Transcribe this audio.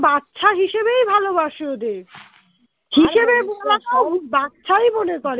বাচ্ছা হিসেবেই ভালোবাসে ওদের বাচ্ছাই মনে করে